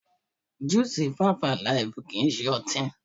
Júù sì fíífú àlìfù kìí ṣe ọtí.